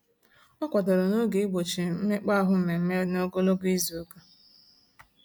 Ọ kwadoro n'oge igbochi mmekpaahụ mmemme n'ogologo izuụka.